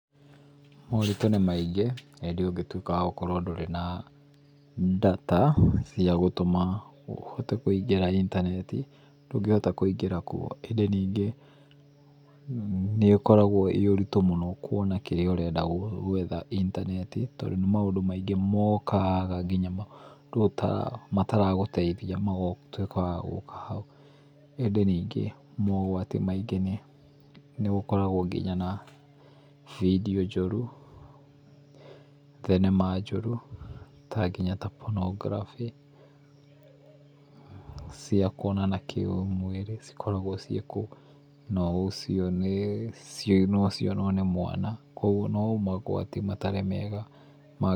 Moritũ nĩ maingĩ ĩndĩ ũngĩtuĩka ndũrĩ wa gũkorwo ndũrĩ na data cia gũtũma ũhote kũingĩra intaneti ndũngĩhota kũingĩra kuo ĩndĩ ningĩ nĩ ũkoragwo ĩĩ ũritũ mũno kuona kĩrĩa urenda gwetha intaneti tondũ nĩ maũndũ maingĩ mokaga nginya maũndũ mataragũteithia magatuĩka wagũka hau. ĩndĩ ningĩ mogwati maingĩ nĩ gũkoragwo video njũru thenema njũru ta nginya ta pornography cia kuonana kĩũmwĩrĩ cikoragwo ciĩ kũu no ũcio nĩ nocionwo nĩ mwana kwoguo no mogwati matarĩ mega.